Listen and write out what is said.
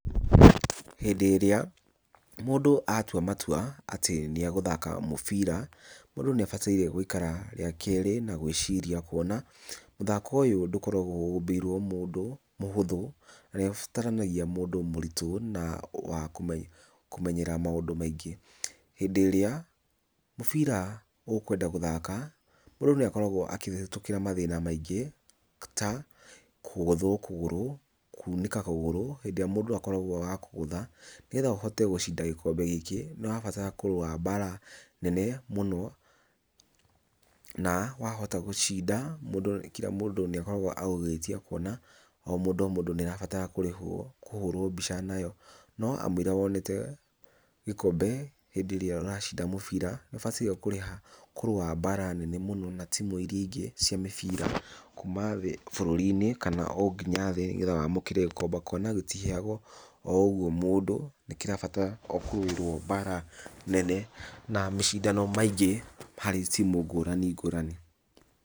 Hĩndĩ ĩrĩa mũndũ atua matua atĩ nĩ agũthaka mũbira, mũndũ nĩ abataire gũikara rĩa kerĩ na gwĩciria kuona, mũthako ũyũ ndũkoragwo ũmbĩirwo mũndũ mũhuthũ na ũbataranagia mũndũ mũritũ na wakũmenyera maũndũ maingĩ, hĩndĩ ĩrĩa mũbira ũkwenda gũthaka, mũndũ nĩ akorawo akĩhĩtũkira mathĩna maingĩ ta kũgũthwo kũgũrũ, kuunĩka kũgũrũ hĩndĩ ĩrĩa mũndũ akoragwo wa kũgũtha. Nĩgetha ũhote gũcinda gĩkombe gĩkĩ nĩ ũrabatara kũrũa mbaara nene mũno, na wahota gũcinda, mũndũ kĩra mũndũ nĩ akoragwo agĩgwĩtia kuona o mũndũ o mũndũ nĩ arabatara kũrĩhwo kũhũrwo mbica nayo, no kamũira wonete gĩkombe hĩndĩ ĩrĩa ũracinda mũbira, nĩ ũbataire kũrĩha kũrũa mbaara nene mũno na tĩmu iria ingĩ ci mĩbira kuuma thĩ bũrũri-inĩ, kana o nginya thĩ nĩgetha wamũkĩre kwamba kũona gĩtiheanagwo o ũguo mũndũ, nĩ kĩrabatara kũrũirwo mbaara nene na mĩcindano maingĩ harĩ timu ngũrani ngũrani.